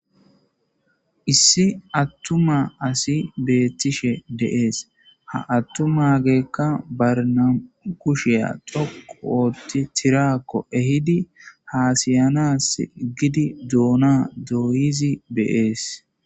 Issi attuma asi bettishe de'ssi ha attumageyika ba nammu kushiya toqqu ottidi tirakko ehidi hasayanas gidi duna doyizi de'ssi